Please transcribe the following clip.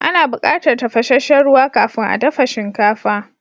Ana bukatar tafashesshen ruwa kafin a dafa shinkafa.